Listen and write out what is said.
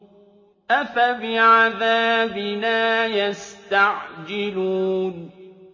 أَفَبِعَذَابِنَا يَسْتَعْجِلُونَ